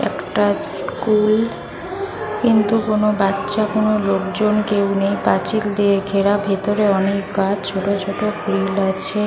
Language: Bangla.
একটা স্কুল কিন্তু কোনো বাচ্ছা কোনো লোকজন কেউ নেই পাঁচিল দিয়ে ঘেরা ভেতরে অনেক গাছ ছোটো ছোটো ফুল আছে --